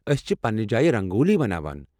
ٲسۍ چھِ پننہِ جایہِ رنگولی بَناوان۔